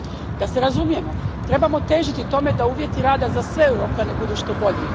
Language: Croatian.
Da se razumijemo, trebamo težiti tome da uvjeti rada za sve Europljane budu što bolji.